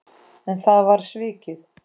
En það var svikið.